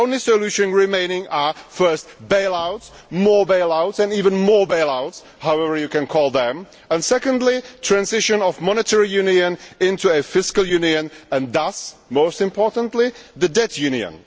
So the only solution remaining are firstly bail outs, more bail outs and even more bail outs, or whatever you want to call them, and secondly, transition of monetary union into a fiscal union and, thus, most importantly the debt union.